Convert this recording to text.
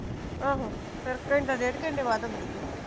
ਆਹੋ, ਫੇਰ ਘੰਟਾ ਡੇਢ ਘੰਟੇ ਬਾਅਦ ਆਉਂਦੀ ਆ